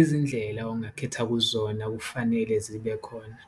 "Izindlela ongakhetha kuzona kufanele zibe khona,